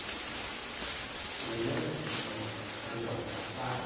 Porque minha mãe era uma moça recatada,